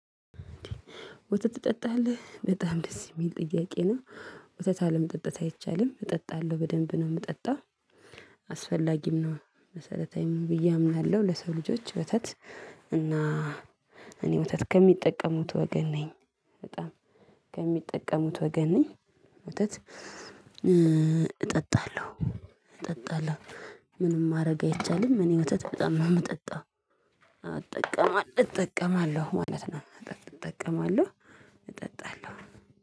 ወተት ትጠጣለህ በጣም ደስ የሚል ጥያቄ ነው? ወተት አለመጠጣት አይቻልም እጠጣለሁ በደንብ ነው የምጠጣው። አስፈላጊም ነው መሰረታዊም ብዬ አምናለሁ። ለሰው ልጆች ወተት እና እኔ ወተት ከሚጠቀሙት ወገን ነኝ። በጣም ከሚጠቀሙት ወገን ነኝ። ወተት እጠጣለሁ እጠጣለሁ። ምንም ማድረግ አይቻልም እኔ ወተት በጣም ነው የምጠጣው። አጠቀማ እጠቀማለሁ ማለት ነው። አትጠቀማለሁ እጠጣለሁኝ